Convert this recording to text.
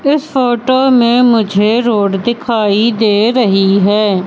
इस फोटो में मुझे रोड दिखाई दे रही है।